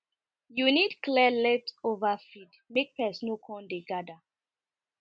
you need clear leftover feed make pest no come dey gather